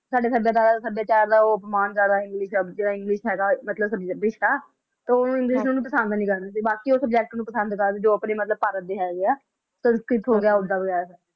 ਸਾਡੇ ਸੱਭਿਅਤਾ ਸਾਡੇ ਸਭਿਆਚਾਰ ਦਾ ਉਹ ਅਪਮਾਨ ਜਿਹੜਾ ਹੈਗਾ ਮਤਲਬ ਹੈ ਤਾਂ ਉਹ english ਨੂੰ ਪਸੰਦ ਨਹੀਂ ਕਰਦੇ ਸੀ ਬਾਕੀ ਉਹ ਨੂੰ ਪਸੰਦ ਕਰਦੇ ਸੀ ਜੋ ਆਪਣੇ ਮਤਲਬ ਭਾਰਤ ਦੇ ਹੈਗੇ ਹੈ ਤੇ ਉੱਦਾਂ